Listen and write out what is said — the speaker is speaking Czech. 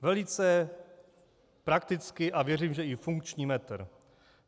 Velice praktický a věřím, že i funkční metr.